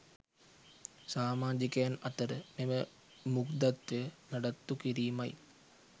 සාමාජිකයන් අතර මෙම මුග්ධත්වය නඩත්තු කිරීමයි